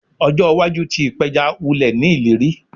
Ojo iwaju ti ipeja wulẹ ni ileri